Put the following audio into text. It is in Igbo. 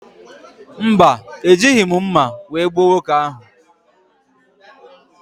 Mba, Ejighị m mma wee gbuo nwoke ahụ.